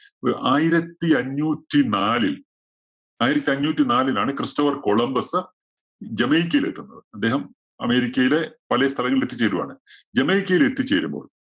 ആയിരത്തി അഞ്ഞൂറ്റി നാലില്‍ ആയിരത്തി അഞ്ഞൂറ്റി നാലിലാണ് ക്രിസ്റ്റഫര്‍ കൊളംബസ് ജമൈക്കയില്‍ എത്തുന്നത്. അദ്ദേഹം അമേരിക്കയിലെ വലിയ സ്ഥലങ്ങളില്‍ എത്തിച്ചേരുവാണ്. ജമൈക്കയില്‍ എത്തിച്ചേരുമ്പോള്‍